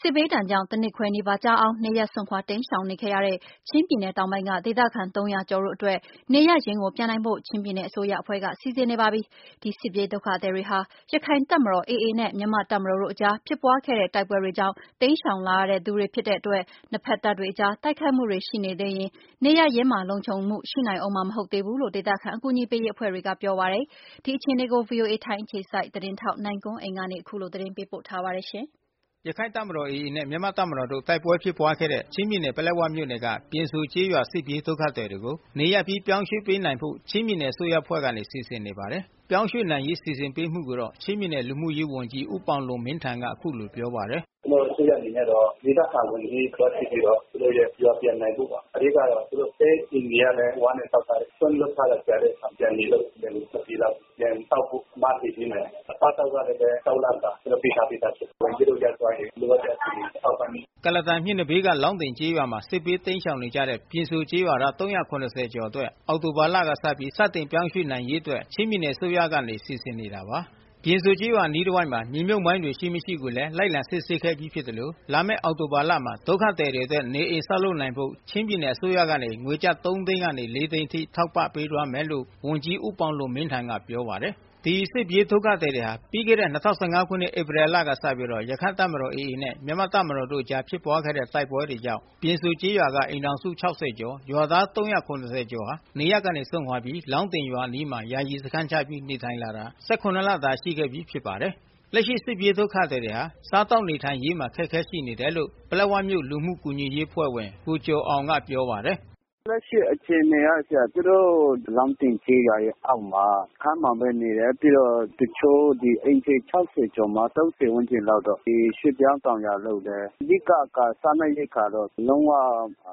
စစ်ဘေးဒဏ်ကြောင့် ၁၇ လကျော် ကြာ နေရပ်စွန့်ခွာ တိမ်းရှောင်နေခဲ့ရတဲ့ ချင်းပြည်နယ်တောင်ပိုင်း ပလက်ဝမြို့နယ် ပြင်စိုကျေးရွာမှ ဒေသခံ ၃၀၀ ကျော် တို့အတွက် နေရပ်ရင်းကိုပြန်နိုင်ဖို့ ချင်းပြည်နယ်အစိုးရအဖွဲ့ကနေစီစဉ်နေပြီး ဖြစ် ပါတယ်။ ဒီစစ်ပြေးဒုက္ခသည်တွေဟာ ရခိုင်တပ်မတော် AAနဲ့ မြန်မာ့တပ်မတော်တို့အကြား ဖြစ်ပွါးခဲ့တဲ့ တိုက်ပွဲကြောင့် နေရပ်ကနေ တိမ်းရှောင်လာတဲ့သူတွေလည်းဖြစ်တဲ့အတွက် နှစ်ဖက်တပ်တွေအကြား တိုက်ခိုက်မှုတွေရှိနေသေးရင် နေရပ်ရင်းမှာလုံခြုံမှု မရှိနိုင်သေးဘူးလို့ ဒေသခံအကူညီပေးရေးအဖွဲ့တွေကပြောပါတယ်။ ဒီအခြေအနေကို VOA ထိုင်းအခြေ စိုက် သတင်းထောက် နိုင်ကွန်းအိန်ကနေသတင်းပေးပို့ထားပါတယ်။ ရခိုင့်တပ်မတော် AA နဲ့ မြန်မာ့တပ်မတော်တို့ တိုက်ပွဲဖြစ်ပွားခဲ့ဲ့တဲ့ ချင်းပြည်နယ် ပလက်ဝမြို့နယ်က ပြင်စိုကျေးရွာ စစ်ပြေးဒုက္ခသည်တွေ ကို နေရပ်အပြီးပြောင်းရွှေ့ပေးနိုင်ဖို့ ချင်းပြည်နယ်အစိုးရအဖွဲ့က စီစဉ်နေပါတယ်။ ပြောင်းရွှေ့နိုင်ရေးစီစဉ်ပေးမှုကိုတော့ ချင်းပြည်နယ် လူမှုရေးဝန်ကြီးဦးပေါင်လွန်မင်းထန်က အခုလိုပြောပါတယ်။ “ကျနော်တို့အစိုးရကတော့ ဒေသခံဝန်ကြီး အထိသွားစစ်ပြီးတော့ သူတို့ရဲ့ရွာတွေပြန်နိုင်ဖို့ပေါ့ ။ အဓိကတော့ သူတို့တဲ အခြေအနေကလည်း ဝါးနဲ့ဆောက်ထားတယ် ၊စွန့်လွှတ်ထားတဲ့ တဲတွေက လည်း နေလို့မရလို့ ပြန်ဆောက်ဖို့ မတည်ပေးမယ်။အစားအသောက်ကလည်း ၆ လစာ ကျနော်တို့ပေးထားပြီးသားဖြစ်တယ် ဝန်ကြီးတို့ရောက်သွားရင် ထောက်ပံ့ဖို့။” ကုလားတန်မြစ်နံဘေးက လောင်းတင်ကျေးရွာမှာ စစ်ဘေးတိမ်းရှောင်နေ ကြရတဲ့ ပြင်စိုကျေးရွာသား ကျော်အတွက် အောက်တိုဘာလကစပြီး စတင်ပြောင်းရွှေ့ပေးနိုင်ရေးအတွက် ချင်းပြည်နယ်အစိုးရကနေစီစဉ်နေတာပါ။ ပြင်စိုကျေးရွာအနားတဝိုက်မှာ မြေမြုပ်မိုင်းတွေရှိမရှိကိုလည်း လိုက်လံစစ်ဆေး ခဲ့ပြီးသလို လာမယ့် အောက်တိုဘာ လမှာ ဒုက္ခသည်တွေအတွက် နေအိမ်ဆောက် လုပ်နိုင်ဖို့ ချင်းပြည်နယ်အစိုးရက ငွေကျပ် ၃ သိန်းကနေ ၄ သိန်းအထိ ထောက်ပံ့ပေးသွားမယ်လို့ ဝန်ကြီးဦးပေါင်လွန်မင်းထန်ကပြောပါတယ်။ ဒီစစ်ပြေးဒုက္ခသည်တွေဟာ ပြီးခဲ့တဲ့ ခုနှစ် ဧပြီလကစပြီး ရခိုင်တပ်မတော် AAနဲ့ မြန်မာ့တပ်မတော်တို့အကြား ဖြစ်ပွါးခဲ့တဲ့ တိုက်ပွဲကြောင့် ပြင်စိုကျေးရွာ က အိမ်ထောင်စု ကျော် ရွာသား ကျော် ဟာ နေရပ်က စွန့်ခွါပြီး လောင်းတင်ရွာ အနီးမှာ ယာယီ စခန်းချပြီးနေထိုင် လာခဲ့တာ လ တာရှိခဲ့ပြီးဖြစ်ပါတယ်။ လက်ရှိစစ်ပြေးဒုက္ခသည်တွေဟာ စားသောက်နေထိုင်ရေးမှာ အခက်ခဲရှိနေတယ်လို့ ပလက်ဝမြို့လူမှုကူညီရေး အဖွဲ့ ဝင် ကိုကျော်အောင်ကပြောပါတယ်။ “လက်ရှိအခြေအနေကတော့ လောင်းတင်ရွာအောက်က စခန်းမှာပဲနေတယ်။ တချို့အိမ်ခြေ ၆၀ ကျော်မှာ ၃၀ ဝန်းကျင်လောက်တော့ ဒီရွှေ့ပြောင်းတောင်ယာ လုပ်တယ်။ အဓိကကတော့ စားနပ်ရိက္ခာတော့ လုံးဝ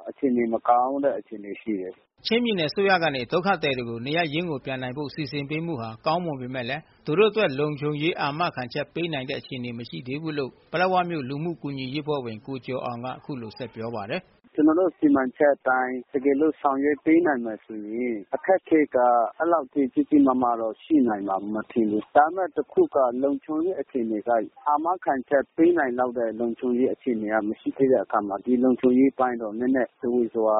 အခြေအနေမကောင်းတဲ့ အခြေအနေရှိတယ်။” ချင်းပြည်နယ်အစိုးရကနေ ဒုက္ခသည်တွေကို နေရပ်ရင်း ကိုပြန်နိုင်ဖို့စီစဉ်ပေးမှု ဟာ ကောင်းမွန်ပေမဲ့ သူတို့အတွက် လုံခြုံရေး အာမခံချက်ပေးနိုင်တဲ့အခြေအနေ မရှိသေးဘူးလို့ ပလက်ဝမြို့လူမှုကူညီရေး အဖွဲ့ဝင် ကိုကျော်အောင်က ပြောပါ တယ်။ “ကျနော်တို့စီမံချက်အတိုင်း တကယ်လို့ဆောင်ရွက်ပေးနိုင်မယ်ဆိုရင် အခက်အခဲက အဲလောက်ထိ ကြီးကြီးမားမားရှိနိုင်မယ်မထင်ဘူး။ ဒါပေမယ့်တခုက လုံခြုံရေး အခြေအနေက အာမခံချက်ပေးနိုင်လောက်တဲ့ လုံခြုံရေးအခြေအနေမရှိတဲ့အခါမှာ ဒီလုံခြုံရေးအပိုင်းကတော့ နည်းနည်း ဇဝေဇဝါ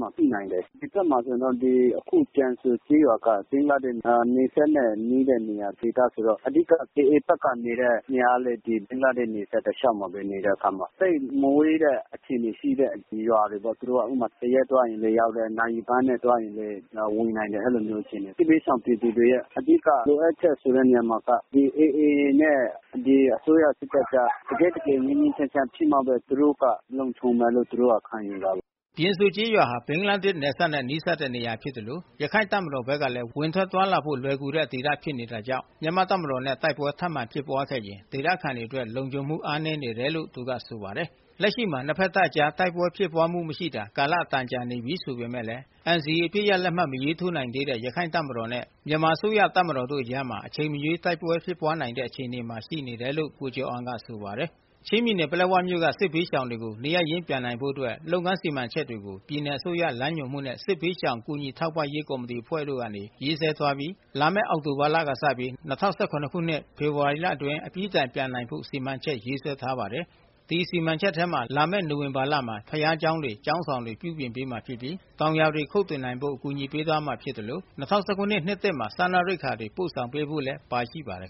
မှာတော့ ရှိနိုင်တယ်။ ဒီဘက်မှာဆိုရင်တော့ ပြင်စိုကျေးရွာက နယ်စပ်နဲ့ နီးတဲ့ဒေသဆိုတော့ AA ဘက်ကလည်း ဘင်္ဂလားဒေ့ရှ် နယ်စပ်တလျှောက်မှာပဲ နေတဲ့အခါမှာ သိပ်မဝေးတဲ့အခြေအနေရှိတဲ့ရွာတွေပေါ့ သူတို့ ၁ ရက်သွားရင်လည်းရောက်တယ်၊ နာရီပိုင်းသွားရင်လည်းရောက်တယ် ၊ ဝင်နိုင်တယ် အဲဒီလိုမျိုးအခြေအနေ စစ်ဘေးရှောင်ပြည်သူတွေရဲ့ အဓိကလိုအပ်ချက်ဆိုတဲ့နေရာမှာက AA ဘက်နဲ့ အစိုးရ စစ်တပ်ကြား တကယ့် တကယ်ငြိမ်းငြိမ်းချမ်းချမ်းဖြစ်မှပဲ သူတို့ကလုံခြုံမယ်လို့ သူတို့ခံယူပါတယ်။” ပြင်စိုကျေးရွာဟာ ဘင်္ဂလားဒေ့ရှ်နယ်စပ် နဲ့နီးတဲ့နေရာဖြစ်သလို ရခိုင်တပ်မတော်ဘက်ကလဲ ဝင်ထွက်သွားလာဖို့ လွယ်ကူတဲ့ဒေသဖြစ်နေ တာကြောင့် မြန်မာ့တပ်မတော်နဲ့တိုက်ပွဲထပ်မံဖြစ်ပွါးခဲ့ရင် ဒေသခံတွေအတွက် လုံခြုံမှုအား နည်းနေတယ်လို့သူကဆိုပါတယ်။ လက်ရှိမှာနှစ်ဖက်တပ်အကြားတိုက်ပွဲဖြစ်ပွါးမှုမရှိတာ ကာလ အတန်ကြာနေပြီးဆိုပေမယ့်လည်း NCA အပစ်ရပ်လက်မှတ်မထိုး နိုင်သေးတဲ့ ရခိုင်တပ်မတော် နဲ့မြန်မာအစိုးရတပ်မတော်တို့အကြားမှာ အချိန်မရွေး တိုက်ပွဲဖြစ်ပွါးနိုင်တဲ့ အခြေအနေ မှာရှိနေတယ်လို့လဲ ကိုကျော်အောင်က ပြောပါတယ်။ ချင်းပြည်နယ်၊ ပလက်ဝမြို့နယ်က စစ်ဘေးရှောင်ပြည်သူတွေနေရပ် ရင်းပြန်နိုင်ဖို့လုပ်ငန်းစီမံချက်တွေကို ပြည်နယ် အစိုးရလမ်းညွှန်မှုနဲ့ စစ်ဘေးရှောင်ကူညီထောက်ပံ့ရေးကော်မတီအဖွဲ့တို့ကနေ ရေးဆွဲထားပြီး၊လာမယ့် အောက်တိုဘာလ ကနေစပြီး ၂၀၁၇ ခုနှစ်ဖေဖေါ်ဝါရီလ အတွင်းအပြီးတိုင်ပြန်နိုင် ဖို့စီမံချက်ရေးဆွဲထားပါတယ်။ စီမံချက်ထဲမှာ လာမယ့်နိုဝင်ဘာလမှာ ဘုရားကျောင်းတွေ ၊ ကျောင်းဆောင်တွေ ပြုပြင်ပေး မှာဖြစ်ပြီး၊ တောင်ယာတွေ ခုတ်ထွင်နိုင်ဖို့ အကူအညီပေးမှာဖြစ်သလို ၂၀၁၇နှစ်သစ်မှာ စားနပ်ရိက္ခာတွေ ပို့ဆောင်ပေးဖို့လည်းပါရှိပါတယ်